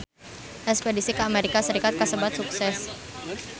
Espedisi ka Amerika Serikat kasebat sukses